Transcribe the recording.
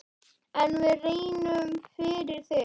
En við reynum, fyrir þig.